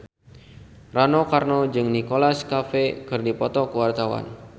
Rano Karno jeung Nicholas Cafe keur dipoto ku wartawan